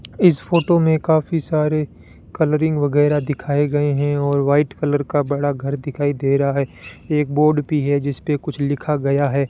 इस फोटो में काफी सारे कलरिंग वगैरह दिखाए गए हैं और वाइट कलर का बड़ा घर दिखाई दे रहा है एक बोर्ड भी है जिस पे कुछ लिखा गया है।